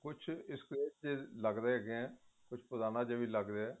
ਕੁੱਝ ਵੀ ਲੱਗ ਰਹੇ ਹੈਗੇ ਏ ਕੁੱਛ ਪੁਰਾਣਾ ਵੀ ਲੱਗ ਰਿਹਾ